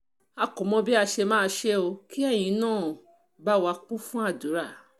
a kò mọ bí a ṣe máa ṣe o kí ẹ̀yin náà bá wa kún fún àdúrà